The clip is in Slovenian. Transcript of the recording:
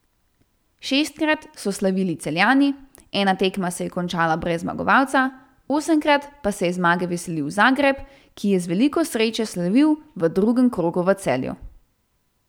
Šestkrat so slavili Celjani, ena tekma se je končala brez zmagovalca, osemkrat pa se je zmage veselil Zagreb, ki je z veliko sreče slavil v drugem krogu v Celju.